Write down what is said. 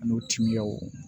Ani o timiyaw